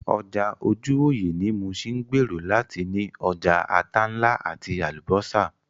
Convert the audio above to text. Ọjà ojúwòyẹ̀ ní Muṣin ń gbèrò láti ní ọjà ata ńlá àti Àlùbọ́sà